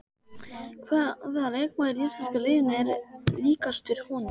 Hvaða leikmaður í íslenska liðinu er líkastur honum?